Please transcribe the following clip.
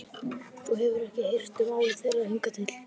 Þú hefur ekki hirt um álit þeirra hingað til.